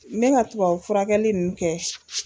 Me ka tubabu furakɛli ninnu kɛ